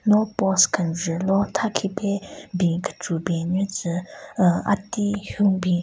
No post kenjvu lo tha khipe ben kecho ben nyu tsü aah ati hyun bin.